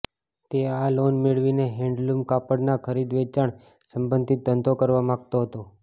તે આ લોન મેળવીને હેન્ડલૂમ કાપડનાં ખરીદ વેચાણ સંબંધિત ધંધો કરવા માંગતો હતો